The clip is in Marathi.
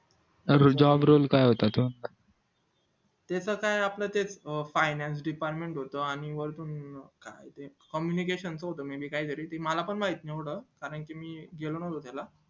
तर job role काय होता तो त्याच काय आपलं तेच finance department होत आणि वरतून communication च होत काही तरी म्हणजे मला पण माहित नव्हतं कारण मी गेलो नव्हतो त्याला